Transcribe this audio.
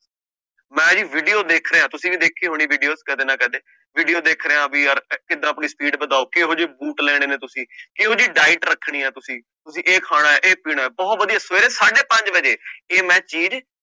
ਮੈਂ ਜੀ video ਦੇਖ ਰਿਹਾ ਤੁਸੀਂ ਵੀ ਦੇਖੀ ਹੋਣੀ videos ਕਦੇ ਨਾ ਕਦੇ video ਦੇਖ ਰਿਹਾ ਵੀ ਯਾਰ ਕਿੱਦਾਂ ਆਪਣੀ speed ਵਧਾਓ ਕਿਹੋ ਜਿਹੇ ਬੂਟ ਲੈਣੇ ਨੇ ਤੁਸੀਂ, ਕਿਹੋ ਜਿਹੀ diet ਰੱਖਣੀ ਹੈ ਤੁਸੀਂ, ਤੁਸੀਂ ਇਹ ਖਾਣਾ ਹੈ ਇਹ ਪੀਣਾ ਹੈ ਬਹੁਤ ਵਧੀਆ ਸਵੇਰੇ ਸਾਢੇ ਪੰਜ ਵਜੇ ਇਹ ਮੈਂ